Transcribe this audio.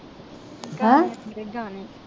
ਗਾਣੇ ਆਂਦੇ ਗਾਣੇ